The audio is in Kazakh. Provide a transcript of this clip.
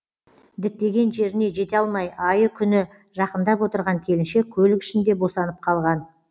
діттеген жеріне жете алмай айы күні жақындап отырған келіншек көлік ішінде босанып қалған